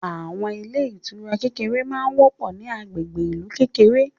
Àwọn ilé ìtura kékèké ma ń wọ́pọ̀ ní agbègbè ìlú kékèké